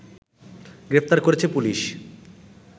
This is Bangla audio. গ্রেফতার করেছে পুলিশ